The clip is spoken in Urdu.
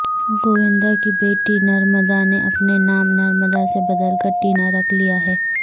گووندا کی بیٹی نرمدا نے اپنا نام نرمدا سے بدل کر ٹینا رکھ لیا ہے